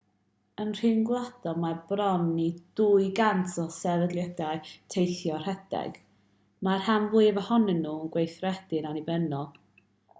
yn rhyngwladol mae bron i 200 o sefydliadau teithio rhedeg mae'r rhan fwyaf ohonyn nhw'n gweithredu'n annibynnol